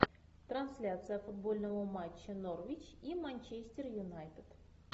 трансляция футбольного матча норвич и манчестер юнайтед